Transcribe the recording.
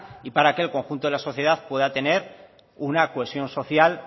y para que el conjunto de la sociedad pueda tener una cohesión social